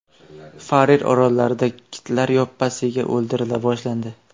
Farer orollarida kitlar yoppasiga o‘ldirila boshlandi.